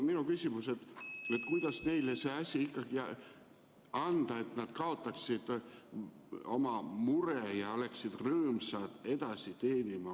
Minu küsimus on järgmine: kuidas see asi ikkagi nii korraldada, et nad kaotaksid oma mure ja teeniksid rõõmsalt edasi?